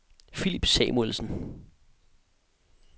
Philip Samuelsen